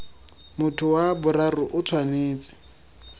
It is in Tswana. motho wa boraro o tshwanetse